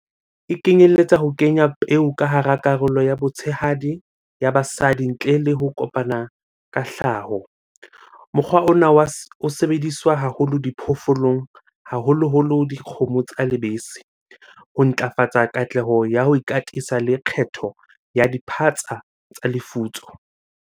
E kenyelletsa ho kenya peo ka hara karolo ya botshehadi ya basadi ntle le ho kopana ka hlaho. Mokgwa ona wa o sebediswa haholo diphoofolong, haholoholo dikgomo tsa lebese ho ntlafatsa katleho ya ho ikatisa le kgetho ya diphatsa tsa lefutso.